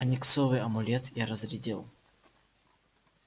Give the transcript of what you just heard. ониксовый амулет я разрядил